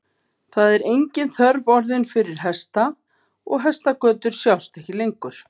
Það er engin þörf orðin fyrir hesta og hestagötur sjást ekki lengur.